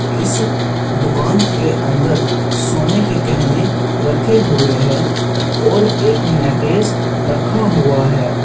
इस दुकान के अंदर सोने के गहने रखे हुए हैं और एक नेकलेस रखा हुआ है।